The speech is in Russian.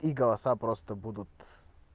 и голоса просто будут